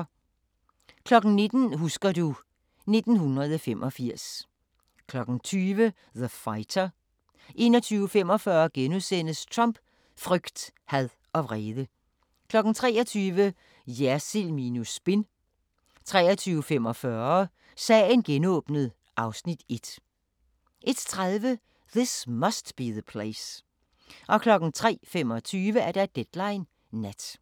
19:00: Husker du... 1985 20:00: The Fighter 21:45: Trump: frygt, had og vrede * 23:00: Jersild minus spin 23:45: Sagen genåbnet (Afs. 1) 01:30: This Must Be the Place 03:25: Deadline Nat